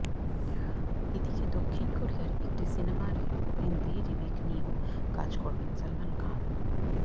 এদিকে দক্ষিণ কোরিয়ার একটি সিনেমার হিন্দি রিমেক নিয়েও কাজ করবেন সলমান খান